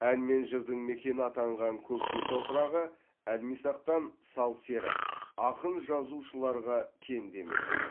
ән мен жырдың мекені атанған көкше топырағы әлмисақтан сал сері ақын жазушыларға кенде емес еді